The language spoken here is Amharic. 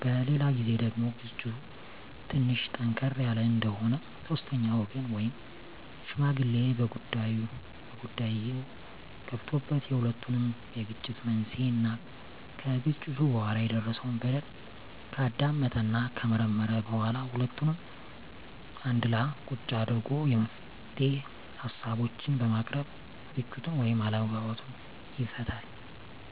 በሌላ ግዜ ደግሞ ግጭቱ ትንሽ ጠንከር ያለ እንደሆነ ሶስተኛ ወገን ወይም ሽማግሌ በጉዳይዮ ገብቶበት የሁለቱንም የግጭት መንሴና ከግጭቱ በኋላ የደረሰው በደል ካዳመጠና ከመረመረ በኋላ ሁለቱንም አንድላ ቁጭ አድርጎ የመፍትሄ ሀሳቦችን በማቅረብ ግጭቱን ወይም አለመግባባቱን ይፈታል።